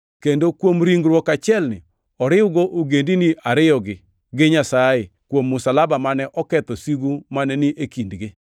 kendo kuom ringruok achielni oriwgo ogendini ariyogi gi Nyasaye kuom msalaba mane oketho sigu mane ni e kindgi.